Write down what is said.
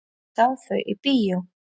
Hann sá þau í bíó.